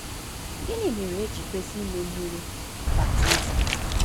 Gịnị Mere E Ji Kwesị Ime Mmiri Baptizim?